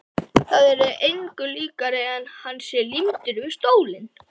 Það er engu líkara en hann sé límdur við stólinn.